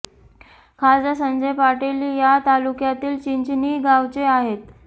खासदार संजय पाटील या तालुक्यातील चिंचणी गावचे आहेत